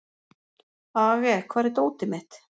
Aage, hvar er dótið mitt?